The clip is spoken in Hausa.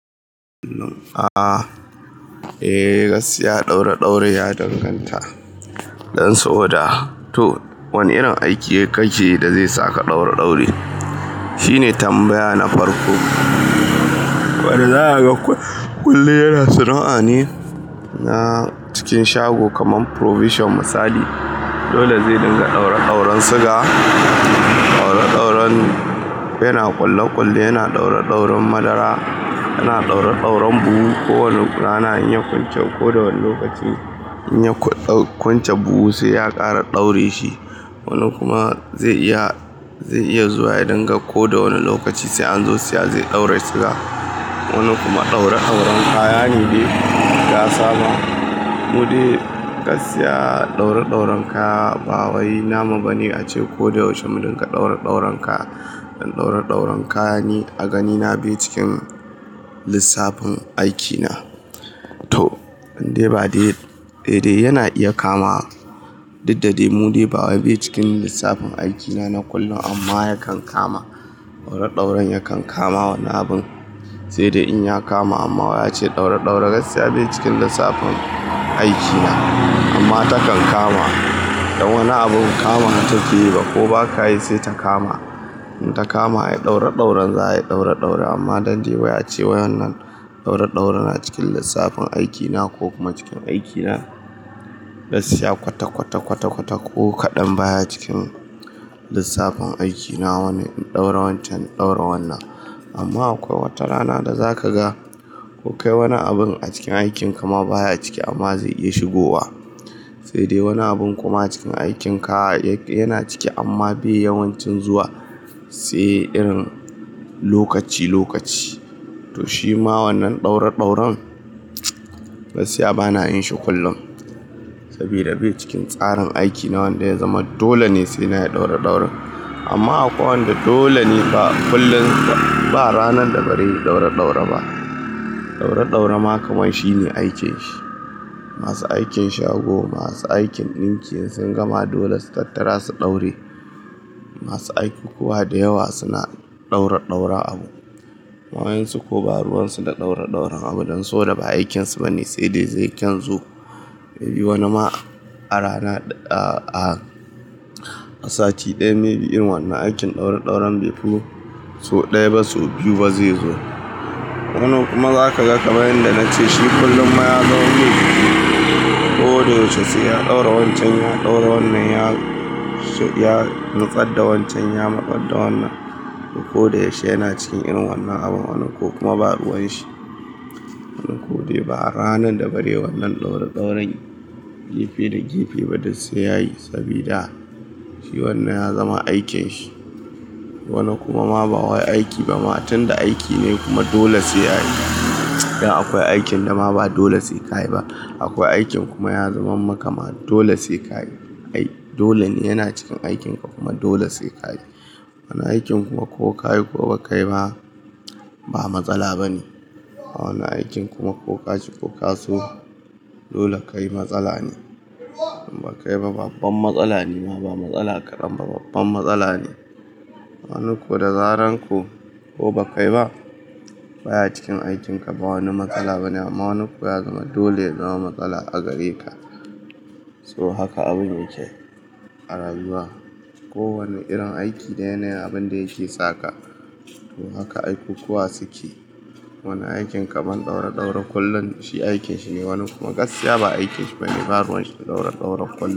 Um aa, eh gaskiya ɗaure ɗaure ya danganta. Dan sa boda to wani irin aiki kake da zai saka ɗaureɗaure. Shi ne tambaya na farko. Wadda za kaga kullum yana sana'a ne, na cikin shago kaman Provision misali. Dole zai dinga ɗaureɗauran siga, ɗauraɗauren yana ƙulleƙulle, yana ɗaureɗauren madara, yana ɗaureɗauren buhu. Ko wani rana in ya kunce ko da wani lokaci, in ya ku dau kwance buhu sai ya ƙara ɗaure shi. Wani kuma zai iya, zai iya zuwa ya dinga ko da wani lokaci sai an zo siya zai ɗaure siga. Wani kuma ɗauraɗauran kaya ne dai da ya saba. Mudai gaskiya ɗaureɗauran kaya ba wai namu bane ace ko da yaushe mu dinga ɗaureɗauran kaya. Dan ɗauraɗauren kaya ni a ganina be cikin lissafin aikina. To, in dai ba dai, dai dai yana iya kama. Diddade mu dai ba wai be cikin lissafin aikina na kullum amma yakan kama. Ɗaureɗauran yakan kama wani abun, sai dai in ya kama amma wai a ce ɗaureɗaure gaskiya be cikin lissafin aikina. Amma takan kama. Dan wani abun kama wa ta ke yi ba ko baka yi sai ta kama. In ta kama ayi ɗaureɗauran za a yi ɗauraɗaure amma dan dai wai a ce wa yannan ɗauraɗauran na cikin lissafin aikina ko kuma cikin aikina. Gaskiya kwata kwata kwata kwata ko kaɗan baya cikin lissafin aikina wani in ɗaura wancan in ɗaura wannan. Amma akwai wata rana da zaka ga kuka yi wani abun a cikin aikin ka ma baya ciki amma zai iya shigowa. Sai dai wani abun kuma a cikin aikin ka yana ciki amma be yawan cin zuwa, sai irin lokaci lokaci. To shi ma wannan ɗauraɗauran, gaskiya bana yin shi kullum. Sabida be cikin tsarin aikina wanda ya zama dole ne sai na yi ɗauraɗauran. Amma akwai wanda dole ne ba kullum, ba ranan da bare yi ɗaureɗaure ba. Ɗaureɗaura ma kamar shi ne aikin shi. Masu aikin shago, masu aikin ɗinki in sun gama dole su tattara su daure. Masu aiki kuwa da yawa suna ɗauraɗauran abu. Wayansu ko ba ruwan su da ɗauraɗauren abu dan so da ba aikinsu bane sai dai zai kan zo. Mei bi wani ma a rana, a sati ɗaya mei bi irin wannan aikin ɗauraɗauran be fi so ɗaya ba so biyu ba zai zo. Wani kuma zaka ga kamar yanda nace shi kullum ma ya zamar mai jiki. Ko da yaushe sai ya ɗaura wancan ya ɗaura wannan, ya nutsadda wancan ya matsar da wannan. Ko da yaushe yana cikin irin wannan abun wani ko kuma ba ruwan shi. A ranan da bare wannan ɗauraɗauran gefe da gefe ba duk sai yayi sabida shi wannan ya zama aikin shi. Wani kuma ma ba wai aiki ba ma tun da aiki ne kuma dole sai yayi. Dan akwai aikin da ma ba dole sai kayi ba. Akwai aikin kuma ya zaman makama dole sai kayi. Ai dole ne yana cikin aikin ka kuma dole sai kayi. Wani aikin kuma ko kayi ko ba kayi ba, ba matsala bane. A wani aikin kuma ko ka ki ko ka so, dole kayi matsala ne. In ba kayi ba babban matsala ne ma ba matsala ƙa danba babban matsala ne. Wani ko da zarar ko ba kayi ba, baya cikin aikin ka ba wani matsala bane amma wani ko ya zama dole zama matsala a gare ka. To haka abun yake a rayuwa. Ko wani irin aiki da yana yin abin da yake saka. To haka aikukuwa su ke. Wani aikin kaman ɗauredaure kullum shi aikin shi ne wani kuma gaskiya ba aikin shi bane ba ruwan shi ɗaureɗaure kullum.